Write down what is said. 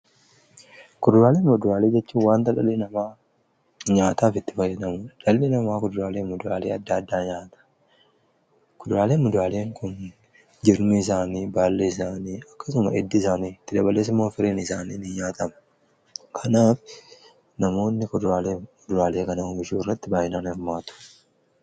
kuduraawwaniifi muduraawwan jechuun wanta dhalli namaa nyaataaf itti fayyadamu. Dhalli namaa kuduraalee fi muduraawwan addaa addaa nyaata. Kuduraalee fi muduraaleen kunis jirmi isaanii, baallii isaanii akkasumas hiddi isaanii itti dabalees immoo firiin isaaniii ni nyaatama. Kanaaf namoonni kuduraalee fi muduraalee kana kunuunsuu irratti baay'inaan ni hirmaatu.